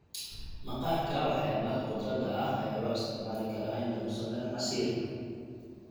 Maqaarka waxyaabaha khudradda ah ayaa loo isticmaali karaa in lagu sameeyo casiir.